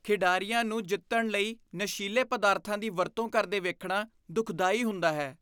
ਖਿਡਾਰੀਆਂ ਨੂੰ ਜਿੱਤਣ ਲਈ ਨਸ਼ੀਲੇ ਪਦਾਰਥਾਂ ਦੀ ਵਰਤੋਂ ਕਰਦੇ ਵੇਖਣਾ ਦੁਖਦਾਈ ਹੁੰਦਾ ਹੈ।